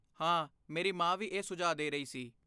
ਹਾਂ, ਮੇਰੀ ਮਾਂ ਵੀ ਇਹ ਸੁਝਾਅ ਦੇ ਰਹੀ ਸੀ